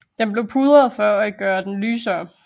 Den blev pudret for at gøre den lysere